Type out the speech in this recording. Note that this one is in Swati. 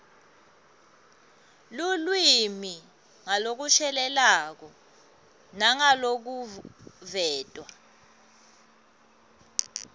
lulwimi ngalokushelelako nangalokuveta